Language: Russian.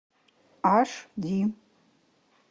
аш ди